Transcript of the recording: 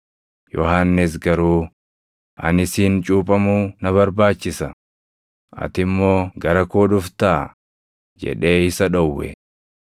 Yohannis garuu, “Ani siin cuuphamuu na barbaachisa; ati immoo gara koo dhuftaa?” jedhee isa dhowwe.